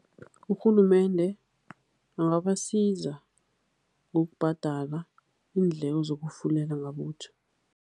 Urhulumende angabasiza ngokubhadala iindleko zokufulela ngabutjha.